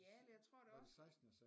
Ja eller jeg tror da også